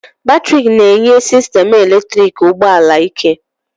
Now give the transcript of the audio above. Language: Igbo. Batrị na-enye sistemụ eletriki ụgbọ ala ike